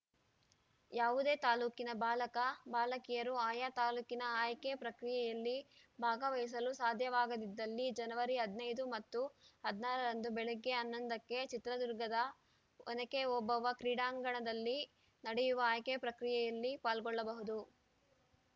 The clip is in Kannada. ಯಾವುದೇ ತಾಲೂಕಿನ ಬಾಲಕ ಬಾಲಕಿಯರು ಆಯಾ ತಾಲೂಕಿನ ಆಯ್ಕೆ ಪ್ರಕ್ರಿಯೆಯಲ್ಲಿ ಭಾಗವಹಿಸಲು ಸಾಧ್ಯವಾಗದಿದ್ದಲ್ಲಿ ಜನವರಿ ಹದಿನೈದು ಮತ್ತು ಹದಿನಾರ ರಂದು ಬೆಳಗ್ಗೆ ಹನ್ನೊಂದ ಕ್ಕೆ ಚಿತ್ರದುರ್ಗದ ಒನಕೆ ಓಬವ್ವ ಕ್ರೀಡಾಂಗಣದಲ್ಲಿ ನಡೆಯುವ ಆಯ್ಕೆ ಪ್ರಕ್ರಿಯೆಯಲ್ಲಿ ಪಾಲ್ಗೊಳ್ಳಬಹುದು